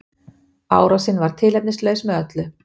Árásin var tilefnislaus með öllu